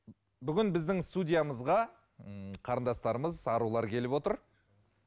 бүгін біздің студиямызға ммм қарындастарымыз арулар келіп отыр